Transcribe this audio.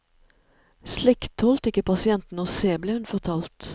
Slikt tålte ikke pasientene å se, ble hun fortalt.